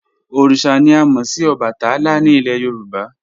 Oríṣà ni à mo sì Òbàtálá ni ilẹ̀ Yorùbá."